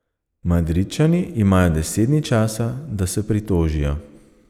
Madridčani imajo deset dni časa, da se pritožijo.